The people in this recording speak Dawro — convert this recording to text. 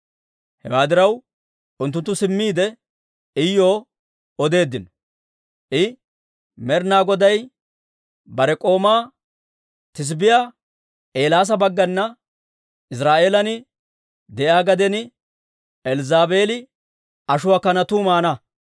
Hewaa diraw, unttunttu simmiide, Iyuw odeeddino; I, «Med'ina Goday bare k'oomaa Tesibbiyaa Eelaasa baggana, ‹Iziraa'eelan de'iyaa gaden Elzzaabeeli ashuwaa kanatuu maana.